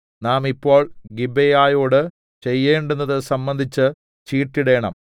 നാം ഇപ്പോൾ ഗിബെയയോടു ചെയ്യേണ്ടുന്നത് സംബന്ധിച്ച് ചീട്ടിടേണം